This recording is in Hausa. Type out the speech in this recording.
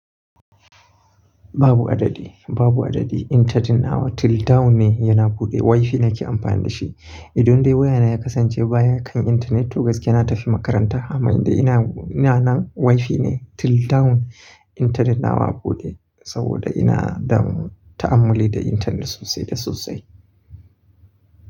Babu adadi, babu adadi. Intetet nawa till down ne yana buɗe. Wi-Fi nake amfani da shi. Idan dai wayana ya kasance baya kan internet, to gaskiya na tafi makaranta. Amma yanda ina nan, Wi-Fi ne till down. Internet nawa buɗe saboda ina da ta'amuli da internet sosai da sosai.